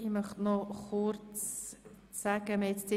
Ich möchte noch kurz Folgendes sagen.